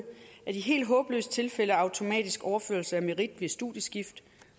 af de helt håbløse tilfælde af automatisk overførsel af merit ved studieskift